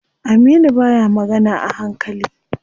Aminu baya magana a hankali.